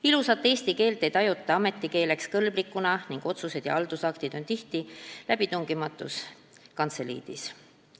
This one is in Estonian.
Ilusat eesti keelt ei tajuta ametikeeleks kõlbulikuna ning otsused ja haldusaktid on tihti läbitungimatus kantseliidis.